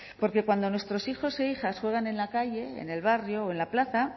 porque cuando nuestros hijos e hijas juegan en la calle en el barrio o en la plaza